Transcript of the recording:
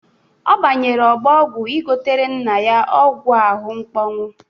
Ọ banyere ọgbọ ọgwụ ịgotere nna ya ọgwụ ahụ mkpọnwụ.